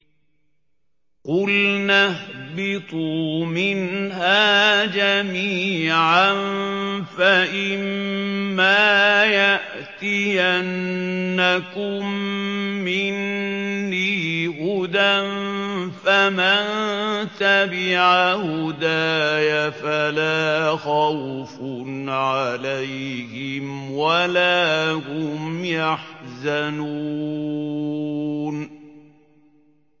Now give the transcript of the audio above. قُلْنَا اهْبِطُوا مِنْهَا جَمِيعًا ۖ فَإِمَّا يَأْتِيَنَّكُم مِّنِّي هُدًى فَمَن تَبِعَ هُدَايَ فَلَا خَوْفٌ عَلَيْهِمْ وَلَا هُمْ يَحْزَنُونَ